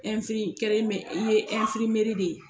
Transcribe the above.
i ye de ye.